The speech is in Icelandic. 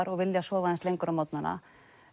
og vilja sofa aðeins lengur á morgnanna